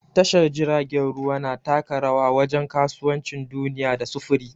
Tashar jiragen ruwa na taka rawa wajen kasuwancin duniya da sufuri.